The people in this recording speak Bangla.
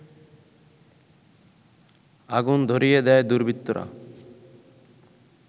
আগুন ধরিয়ে দেয় দুর্বৃত্তরা